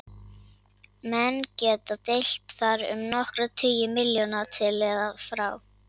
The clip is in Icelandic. Menn geta deilt þar um nokkra tugi milljóna til eða frá.